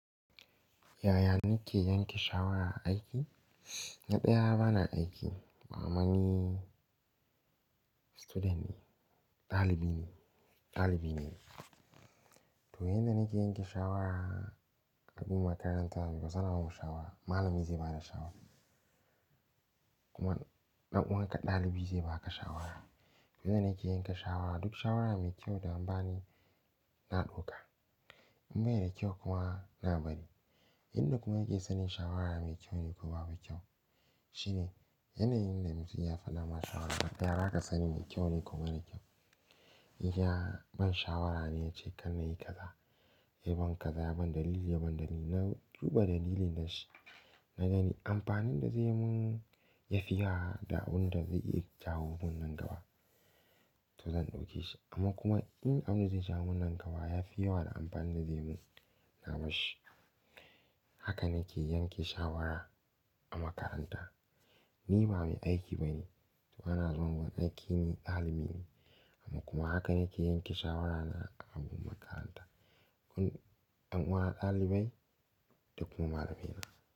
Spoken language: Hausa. Yaya nike yanke shawara aiki na ɗaya ba na aiki, ammani student ne, dalibi ne, dalibi ne. To yanda nake yanke shawara a makaranta, bai sanarwa mu shawara, malami zai bada shawara. Kuma ɗan uwan ka ɗalibi zai baka shawara. Yanda nake yanke shawara, duk shawara mai kyau da an bani na ɗauka. In bai da kyau kuma na bari. Inda kuma yake sanin shawara mai kyau ne ko babu kyau shine yanayin da mutum ya fada ma shawara. Ya baka sanin mai kyau ne ko marar kyau. In ya, ban shawara ne ya ce kar nayi kaza, yayi ban kaza yayi ban dalili yaban dalili, na duba dalilin da shi. Na gani amfanin da zai mun yafi ya da abun da zai iya jawo mun nan gaba, to zan ɗauke shi. Amma kuma in abin da zai jawo mun nan gaba yafi yawa da amfanin da zai mun, na barshi. Haka nake yanke shawara a makaranta. Ni ba mai aiki ba ne, bana zama a aiki ni dalibi ne. Amma kuma haka nake yanke shawara na a makaranta. Ɗan uwa ɗalibai da kuma malamina.